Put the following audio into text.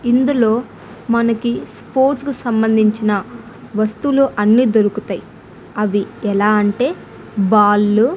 ఇందులో మనకి స్పోర్ట్స్ కి సంబంధించిన వస్తువులు అన్నీ దొరుకుతాయి అవి ఎలా అంటే బాల్ లు.